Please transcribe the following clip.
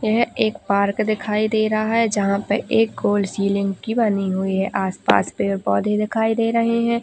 यह एक पार्क दिखाई दे रहा है जहां पर एक ओर सीलिंग भी बनी हुई है आसपास पेड़ पौधे दिखाई दे रहे है।